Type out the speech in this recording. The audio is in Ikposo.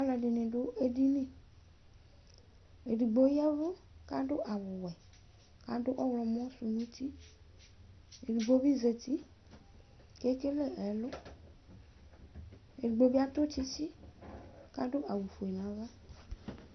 alʊɛɗɩnɩ ɗʊ eɗinɩ ɔlʊɛɗɩgɓo ɔƴɛʋʊ taɗʊ ɛƙʊɗʊnɛtʊ ɔwɛ taɗʊ ɔwlomɔsʊnʊ ʊtɩ eɗɩgɓoɓɩzatɩ eƙele ɛlʊ eɗɩgbɩ atʊ tsɩtsɩ taɗʊ awu oƒʊe nʊ aʋa